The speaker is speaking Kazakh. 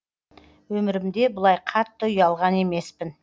өмірімде бұлай қатты ұялған емеспін